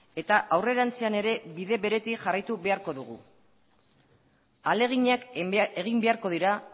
eta aurrerantzean ere bide beretik jarraitu beharko dugu ahaleginak egin beharko dira